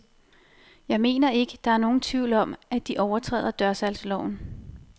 Jeg mener ikke, der er nogen tvivl om, at de overtræder dørsalgsloven.